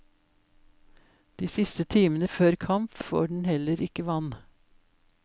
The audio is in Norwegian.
De siste timene før kamp, får den heller ikke vann.